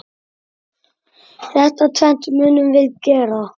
Þetta tvennt munum við gera.